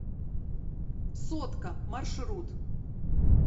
сотка маршрут